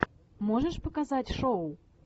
можешь показать шоу